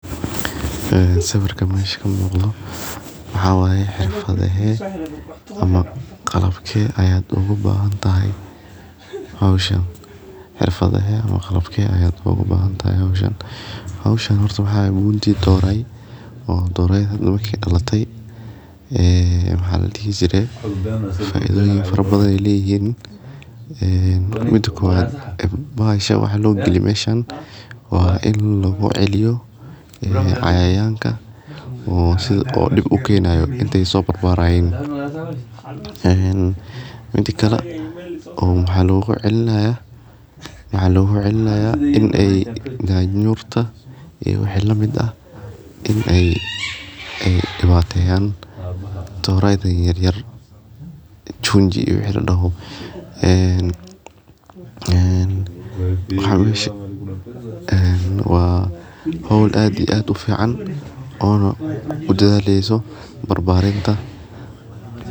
Sawirkan meesha ka muqta waxa wee xirfado hee ama qalabkee aya ugu baahan tahay hawshaan. Xirfadaha ama qalabkay ayaad ugu baahan tahay hawshaan. Hawshaan horta waxa way buundii dooray oo dooraya naba ka helo latay ee maxalliyada. Fidaayee farbaday leeyihiin. En Muddo kuwad basha ya wax loo geli mayshan waa in loo eega eliyo cayayaanka oo sida oo dhib u keenaayo intay soo barbaraan. Maanta kala uu maxallo u cillaa. Maxallo u cillaa inay nyaar nyurta iyo wehela mid ah inay ay ibaadheyan dooro aa yaryar junji. Wixii ladaho en. En khawish en waa howl aadi aad u fiican oo noo u jalleysu barbarinta.